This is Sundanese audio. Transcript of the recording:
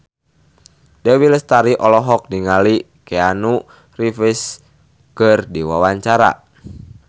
Dewi Lestari olohok ningali Keanu Reeves keur diwawancara